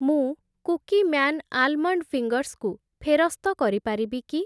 ମୁଁ Cookieman almond fingers କୁ ଫେରସ୍ତ କରି ପାରିବି କି?